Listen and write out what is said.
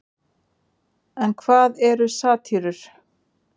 En hvað eru satírur?